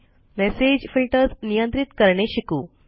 message filters नियंत्रित करणे शिकू